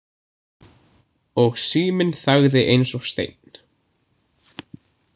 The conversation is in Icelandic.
Og síminn þagði eins og steinn.